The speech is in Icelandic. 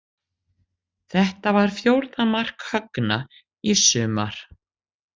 Þetta var fjórða mark Högna í sumar.